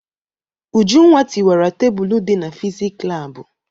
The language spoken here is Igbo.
Ujunwa tiwara tebulu dị na fizik laabụ.